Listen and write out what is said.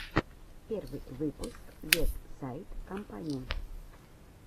первый выпуск вестсайд компани